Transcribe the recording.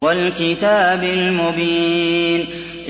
وَالْكِتَابِ الْمُبِينِ